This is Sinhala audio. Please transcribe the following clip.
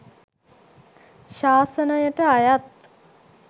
ශාසනයට අයත්